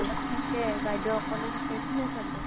দুৰত থাকে । বাইদেউ অকলে থাকে, কোনে চাব ।